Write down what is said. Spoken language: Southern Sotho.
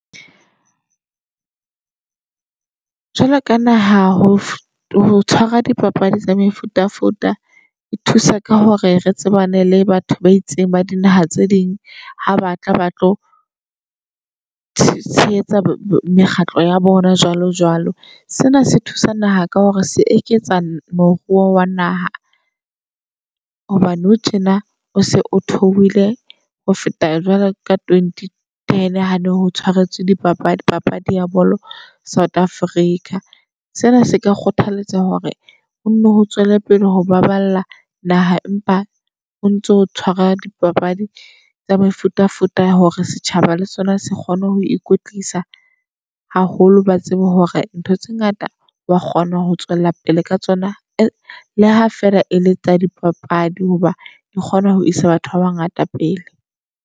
Jwalo ka naha ho tshwarwa dipapadi tsa mefutafuta e thusa ka hore re tsebane le batho ba itseng ba dinaha tse ding ha ba tla ba tlo tshehetsa mekgatlo ya bona jwalo jwalo. Sena se thusa naha ka hore se eketsa moruo wa naha. Hobane nou tjena o se o thohile ho feta jwalo ka twenty ten. Hane ho tshwaretswe di papadi papadi ya bolo South Africa. Sena se ka kgothaletsa hore o nno o tswele pele ho baballa naha, empa o ntso tshwara dipapadi tsa mefutafuta ya hore setjhaba le sona se kgone ho ikwetlisa haholo. Ba tsebe hore ntho tse ngata wa kgona ho tswela pele ka tsona le ha feela e le tsa dipapadi. Hoba ke kgona ho isa batho baba ngata pele.